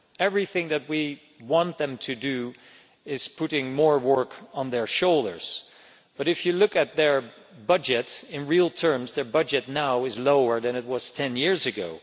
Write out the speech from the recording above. Everything that we want them to do puts more work on their shoulders but, if you look at their budget, in real terms it is now lower than it was 10 years ago.